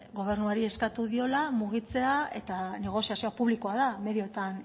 gobernuari eskatu diola mugitzea eta negoziazioa publikoa da medioetan